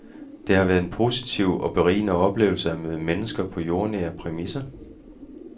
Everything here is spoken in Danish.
Det har været en positiv og berigende oplevelse at møde mennesker på jordnære præmisser.